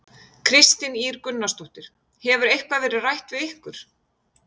Kristín Ýr Gunnarsdóttir: Hefur eitthvað verið rætt við ykkur?